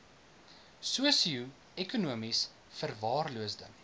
sosio ekonomies verwaarloosde